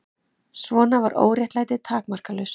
Svona var óréttlætið takmarkalaust.